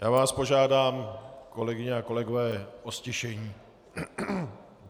Já vás požádám, kolegyně a kolegové, o ztišení.